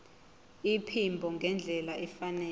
iphimbo ngendlela efanele